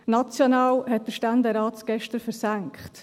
National hat es der Ständerat gestern versenkt.